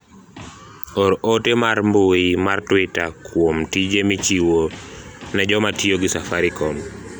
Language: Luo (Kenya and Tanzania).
or ote mar mbui mar twita kuom tije michiwo ne joma tiyo gi safaricom